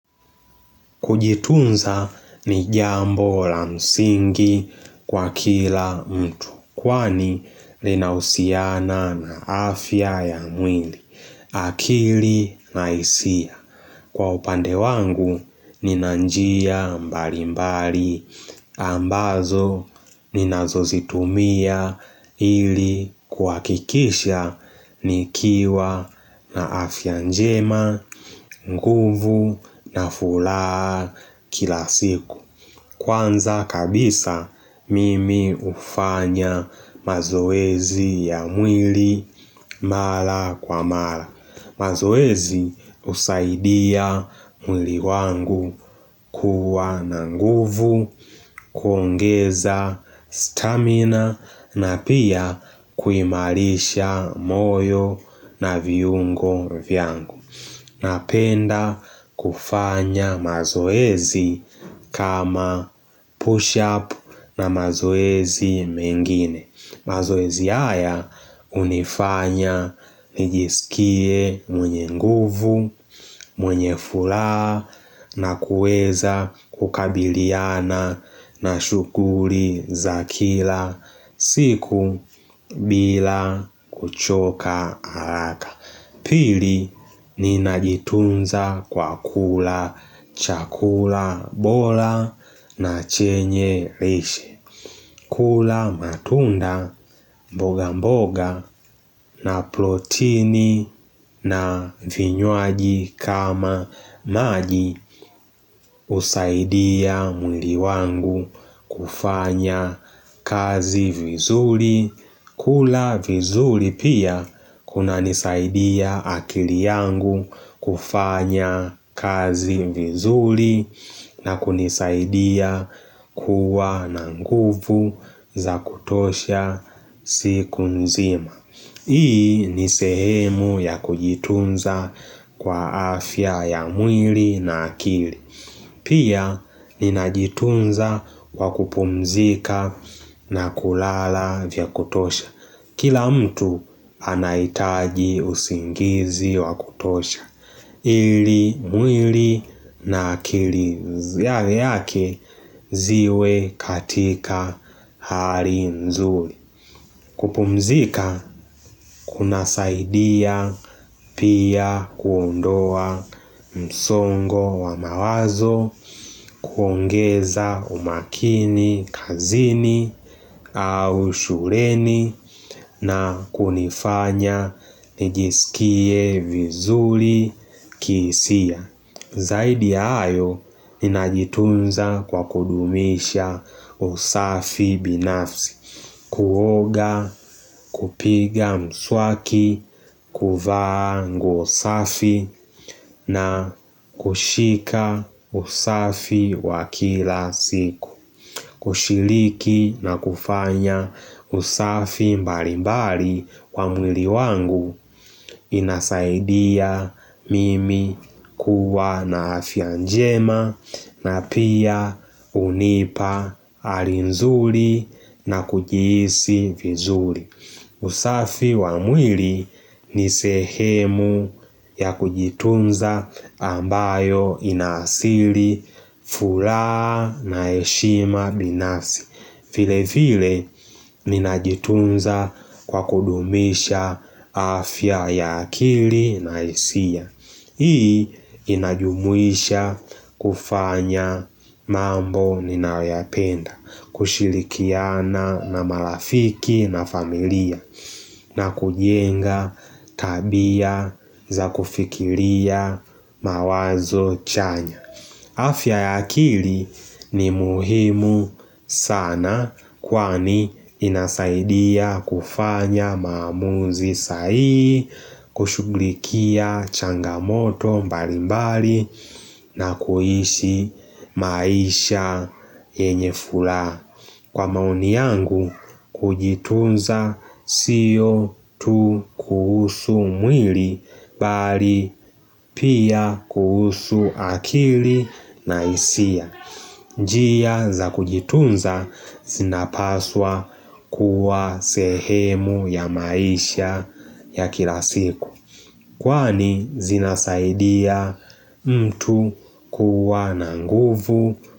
Kujitunza ni jambo la msingi kwa kila mtu, kwani linahusiana na afya ya mwili, akili na hisia. Kwa upande wangu nina njia mbali mbali ambazo ninazo zitumia ili kuhakikisha nikiwa na afya njema nguvu na furaha kila siku. Kwanza kabisa mimi hufanya mazoezi ya mwili mara kwa mara mazoezi husaidia mwili wangu kuwa na nguvu, kuongeza stamina na pia kuimarisha moyo na viungo vyangu Napenda kufanya mazoezi kama push up na mazoezi mengine mazoezi haya hunifanya nijisikie mwenye nguvu, mwenye furaha na kueza kukabiliana na shughuli za kila siku bila kuchoka haraka Pili ni najitunza kwa kula chakula bora na chenye lishe. Kula matunda mboga mboga na protini na vinyuaji kama maji husaidia mwili wangu kufanya kazi vizuri. Kula vizuri pia kuna nisaidia akili yangu kufanya kazi vizuri na kunisaidia kuwa na nguvu za kutosha siku nzima Hii ni sehemu ya kujitunza kwa afya ya mwili na akili Pia ninajitunza kwa kupumzika na kulala vya kutosha Kila mtu anahitaji usingizi wakutosha ili mwili na akili yale yake ziwe katika hari nzuri kupumzika kunasaidia pia kuondoa msongo wa mawazo kuongeza umakini kazini au shuleni na kunifanya nijisikie vizuri kihisia Zaidi ya hayo, ninajitunza kwa kudumisha usafi binafsi Kuoga, kupiga mswaki, kuvaa nguo safi na kushika usafi wa kila siku kushiriki na kufanya usafi mbali mbali wa mwili wangu inasaidia mimi kuwa na afia njema na pia hunipa hali nzuri na kujihisi vizuri usafi wa mwili ni sehemu ya kujitunza ambayo inaasili furaha na heshima binafsi vile vile ninajitunza kwa kudumisha afya ya akili na hisia Hii inajumuisha kufanya mambo ninayoyapenda kushirikiana na marafiki na familia na kujenga tabia za kufikiria mawazo chanya afya ya akili ni muhimu sana kwani inasaidia kufanya maamuzi sai, kushuglikia changamoto mbali mbali na kuishi maisha yenye furaha. Kwa maoni yangu kujitunza siyo tu kuhusu mwili bali pia kuhusu akili na hisia njia za kujitunza zinapaswa kuwa sehemu ya maisha ya kila siku Kwani zinasaidia mtu kuwa na nguvu.